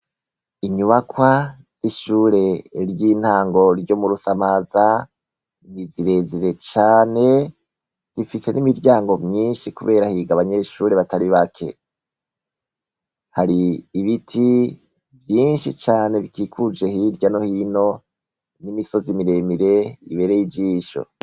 Inyubakwa y'ishure ry'intango ryo mu Rusamaza ni zirezire cane zifise n'imiryango myinshi kubera higa abanyeshure batari bake , hari ibiti vyinshi cane bikikuje hirya no hino n'imisozi miremire ibereye ijisho.